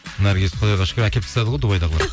наргизді құдайға шүкір әкеліп тастады ғой дубайдағылар